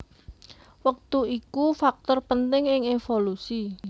Wektu iku faktor penting ing évolusi